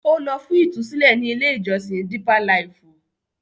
Ó lọ fún ìtúsílẹ̀ ní ilé-ìjọsìn Dípá Laìfù.